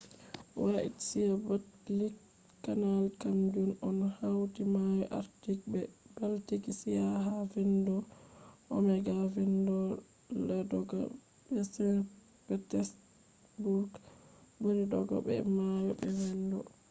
white sea-baltic canal kam jun on hauti mayo arctic be baltic sea ha vendo onega vendo ladoga be saint petesburg buri dodogo be mayo be vendo